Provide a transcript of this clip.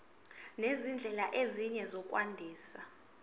nezindlela ezinye zokwandisa